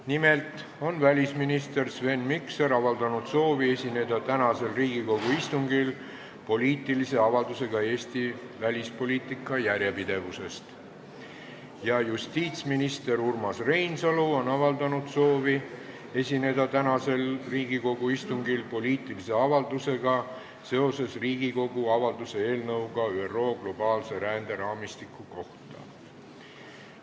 Nimelt on välisminister Sven Mikser avaldanud soovi esineda tänasel Riigikogu istungil poliitilise avaldusega Eesti välispoliitika järjepidevuse kohta ja justiitsminister Urmas Reinsalu on avaldanud soovi esineda tänasel Riigikogu istungil poliitilise avaldusega seoses Riigikogu avalduse eelnõuga ÜRO globaalse ränderaamistiku kohta.